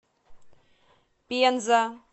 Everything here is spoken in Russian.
пенза